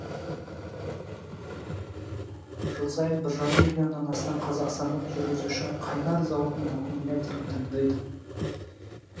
жыл сайын бір жарым миллионнан астам қазақстандық жүргізуші қайнар зауытының аккумуляторын таңдайды